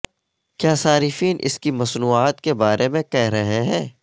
کیا صارفین اس کی مصنوعات کے بارے میں کہہ رہے ہیں